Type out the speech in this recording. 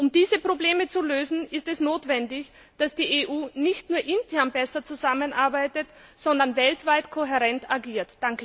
Um diese Probleme zu lösen, ist es notwendig, dass die EU nicht nur intern besser zusammenarbeitet, sondern weltweit kohärent agiert.